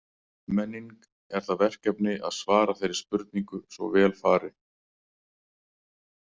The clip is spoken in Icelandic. Menning er það verkefni að svara þeirri spurningu svo vel fari.